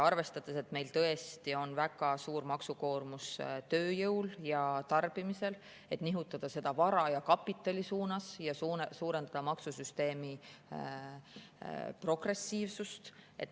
Arvestades, et meil tõesti on väga suur maksukoormus tööjõul ja tarbimisel, nihutada seda vara ja kapitali suunas ja suurendada maksusüsteemi progressiivsust.